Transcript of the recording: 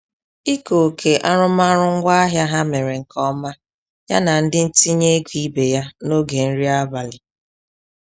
Ike oke arụmaọrụ ngwaahịa ha mere nke ọma ya na ndị ntinye ego ibe ya n'oge nri abalị.